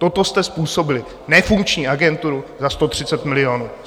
Toto jste způsobili, nefunkční agenturu za 130 milionů.